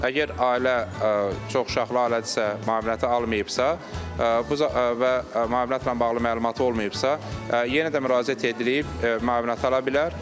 Əgər ailə çoxuşaqlı ailədirsə, müavinəti almayıbsa, bu və müavinətlə bağlı məlumatı olmayıbsa, yenə də müraciət edilib müavinət ala bilər.